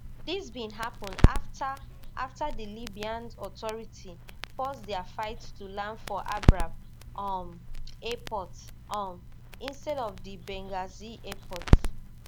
dis bin happun afta afta di libyan authority force dia fight to land for abraq um airport um instead of di benghazi airport